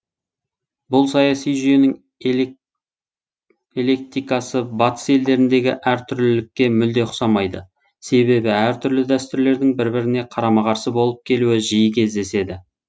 бұл саяси жүйенің электикасы батыс елдеріндегі әртүрлілікке мүлде ұқсамайды себебі әртүрлі дәстүрлердің бір біріне қарама қарсы болып келуі жиі кездеседі